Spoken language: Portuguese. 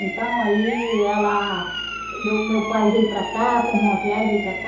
Então, aí ela... Meu meu pai veio para cá, tomou uma viagem, veio para cá.